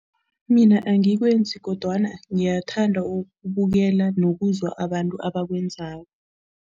Mina angikwenzi kodwana ngiyathanda ukubukela nokuzwa abantu abakwenzako.